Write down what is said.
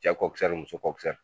Cɛ kɔkisɛri muso kɔkisɛri!